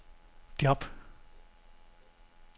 job